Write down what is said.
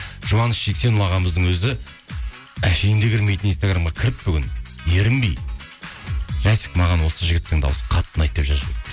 жұбаныш жексенұлы ағамыздың өзі әшейінде кірмейтін инстаграмға кіріп бүгін ерінбей жасик маған осы жігіттің дауысы қатты ұнайды деп жазып жіберіпті